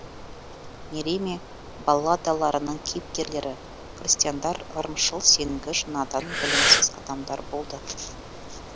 мериме балладаларының кейіпкерлері крестьяндар ырымшыл сенгіш надан білімсіз адамдар болды